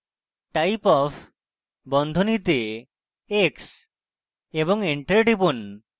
> typeof বন্ধনীতে x এবং enter টিপুন